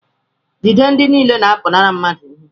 jide ndị niile na-apụnara mmadụ ihe